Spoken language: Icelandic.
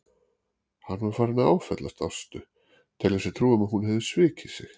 Hann var farinn að áfellast Ástu, telja sér trú um að hún hefði svikið sig.